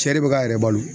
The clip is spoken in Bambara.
Cɛ de bɛ k'a yɛrɛ balo